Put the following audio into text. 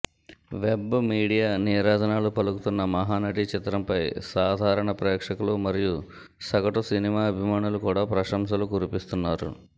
web media నీరాజనాు పలుకుతున్న మహానటి చిత్రంపై సాదారణ ప్రేక్షకులు మరియు సగటు సినిమా అభిమానులు కూడా ప్రశంసలు కురిపిస్తున్నారు